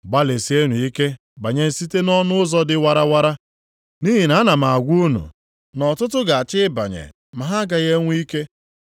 “Gbalịsienụ ike banye site nʼọnụ ụzọ dị warawara, nʼihi na ana m a gwa unu na ọtụtụ ga-achọ ịbanye ma ha agaghị enwe ike.